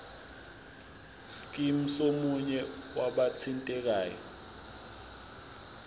scheme somunye wabathintekayo